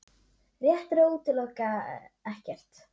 Rétt er að útiloka ekkert